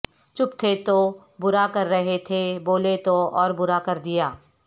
چپ تھے تو برا کررہے تھے بولے تو اور برا کردیا